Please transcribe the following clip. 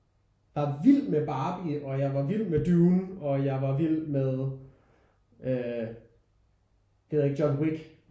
Var vild med Barbie og jeg var vild med Dune og jeg var vild med øh det ved jeg ikke John Wick